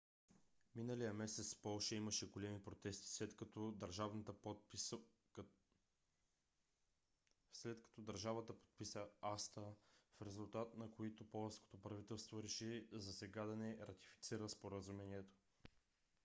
миналия месец в полша имаше големи протести след като държавата подписа acta в резултат на които полското правителство реши засега да не ратифицира споразумението